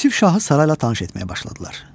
Yusif şahı sarayla tanış etməyə başladılar.